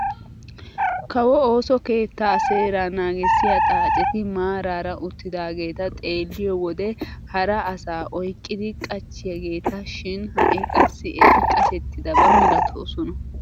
Kawo ooso keettaa seeraa nagissiyaa xaacetti maarara uttidaageta xeelliyoo wode hara asaa oyqqidi qachchiyaageta shin ha'i qassi eti qashshetidaba milatoosona.